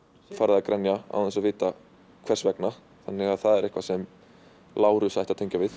farið að grenja án þess að vita hvers vegna þannig að það er eitthvað sem Lárus ætti að tengja við